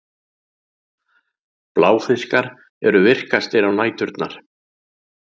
Bláfiskar eru virkastir á næturnar.